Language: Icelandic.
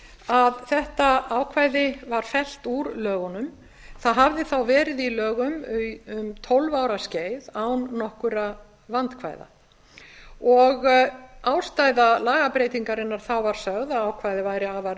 að þetta ákvæði var fellt úr lögunum það hafði þá verið í lögum um tólf ára skeið án nokkurra vandkvæða ástæða lagabreytingarinnar þá var sögð að ákvæðið væri afar